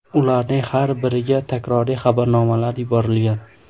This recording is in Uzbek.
Ularning har biriga takroriy xabarnomalar yuborilgan.